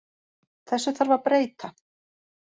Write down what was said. Þessu þarf að breyta.